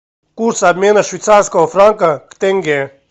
курс обмена швейцарского франка к тенге